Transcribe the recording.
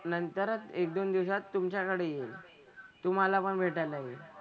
नंतरच एक दोन दिवसात तुमच्याकडे येईल. तुम्हाला पण भेटायला येईल.